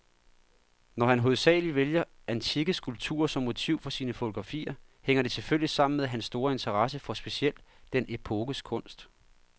Når han hovedsagelig vælger antikke skulpturer som motiv for sine fotografier, hænger det selvfølgelig sammen med hans store interesse for specielt den epokes kunst.